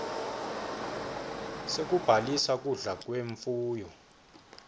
sekubhaliswa kudla kwemfuyo